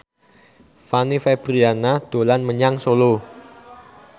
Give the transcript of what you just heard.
Fanny Fabriana dolan menyang Solo